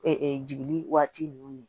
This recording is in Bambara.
jigili waati ninnu